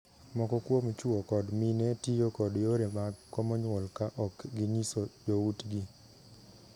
Moko kuom chwo kod mine tiyo kod yore mag komo nyuol ka ok ginyiso joutgi.